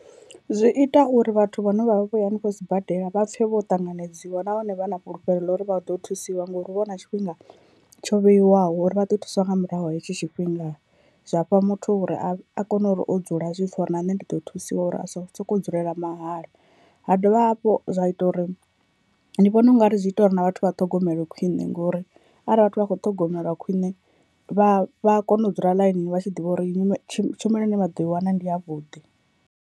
Zwi ita uri vhathu vhane vhavha vhoya hanefho sibadela vha pfhe vho ṱanganedziwa nahone vha na fhulufhelo ḽa uri vha ḓo thusiwa ngauri hu vha hu na tshifhinga tsho vheiwaho uri vha ḓo thusiwa nga murahu ha hetsho tshifhinga, zwafha muthu uri a kone uri o dzula a zwipfhe uri na nṋe ndi ḓo thusiwa uri asa sokou dzulela mahala, ha dovha hafhu zwa ita uri ndi vhona ungari zwi ita uri na vhathu vha ṱhogomele khwine ngori arali vhathu vha kho ṱhogomelwa khwine vha vha a kona u dzula ḽainini vha tshi ḓivha uri tshumelo ine vha ḓo i wana ndi ya vhuḓi.